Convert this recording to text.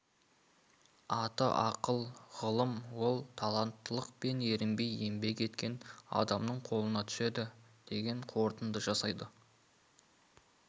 аты ақыл ғылым ол таланттылық пен ерінбей еңбек еткен адамның қолына түседі деген қорытынды жасайды